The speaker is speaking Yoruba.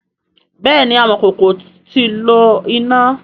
bẹẹni amọkoko ti lo ina.